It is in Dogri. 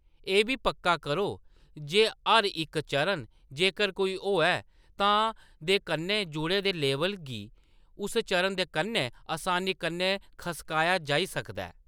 एह्‌‌ बी पक्का करो जे हर इक चरण, जेकर कोई होऐ, तां, दे कन्नै जुड़े दे लेबल गी उस चरण दे कन्नै असानी कन्नै खसकाया जाई सकदा ऐ।